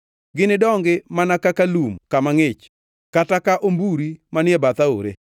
Ginidongi mana ka lum man kama ngʼich kata ka omburi manie bath aore.